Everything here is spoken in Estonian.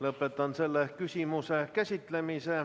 Lõpetan selle küsimuse käsitlemise.